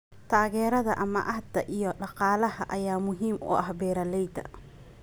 Taageerada amaahda iyo dhaqaalaha ayaa muhiim u ah beeralayda.